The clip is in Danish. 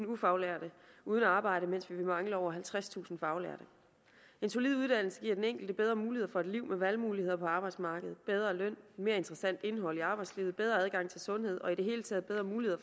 ufaglærte uden arbejde mens vi vil mangle over halvtredstusind faglærte en solid uddannelse giver den enkelte bedre mulighed for et liv med valgmuligheder på arbejdsmarkedet bedre løn mere interessant indhold i arbejdslivet bedre adgang til sundhed og i det hele taget bedre muligheder